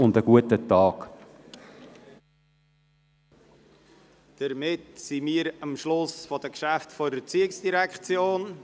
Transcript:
Damit sind wir am Schluss der Geschäfte der ERZ angelangt.